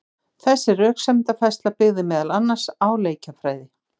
Þessi röksemdafærsla byggði meðal annars á leikjafræði.